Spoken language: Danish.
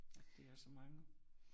At de er så mange